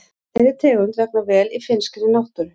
Þeirri tegund vegnar vel í finnskri náttúru.